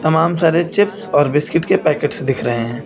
तमाम सारे चिप्स और बिस्किट के पैकेट्स दिख रहे हैं।